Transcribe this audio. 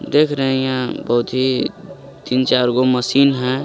देख रहे हे यहाँ बहोत ही तीन चार्गो मशीन हे.